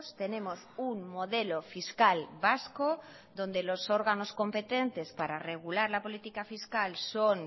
tenemos un modelo fiscal vasco donde los órganos competentes para regular la política fiscal son